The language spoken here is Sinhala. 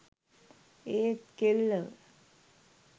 ඒත් කෙල්ලව